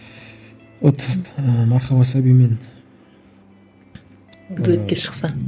вот ыыы мархаба сәбимен дуэтке шықса